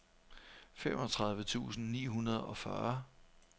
femogtredive tusind ni hundrede og fyrre